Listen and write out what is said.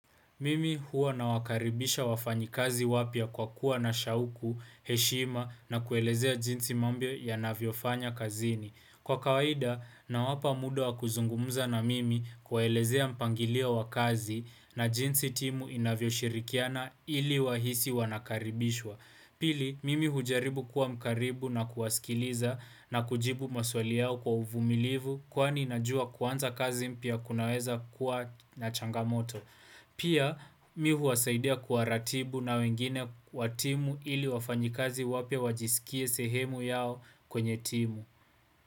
Mimi huwa na wakaribisha wafanyi kazi wapya kwa kuwa na shauku, heshima na kuelezea jinsi mambo yanavyofanya kazini. Kwa kawaida na wapa muda wa kuzungumza na mimi kuwaelezea mpangilio wakazi na jinsi timu inavyo shirikiana ili wahisi wanakaribishwa. Pili, mimi hujaribu kuwa mkaribu na kuwasikiliza na kujibu maswali yao kwa uvumilivu kwani najua kuanza kazi mpya kunaweza kuwa na changamoto. Pia mi huwasaidia kuwaratibu na wengine watimu ili wafanyikazi wapya wajiskie sehemu yao kwenye timu.